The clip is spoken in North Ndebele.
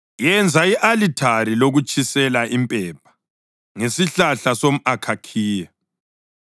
“Yenza i-alithari lokutshisela impepha ngesihlahla somʼakhakhiya.